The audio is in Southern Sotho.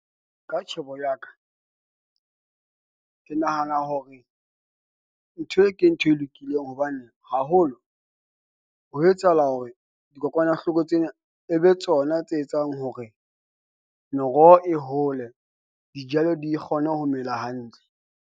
Ka tjhebo ya ka, ke nahana hore ntho e ke ntho e lokileng hobane haholo ho etsahala hore dikokwanahloko tsena e be tsona tse etsang hore meroho e hole dijalo di kgone ho mela hantle.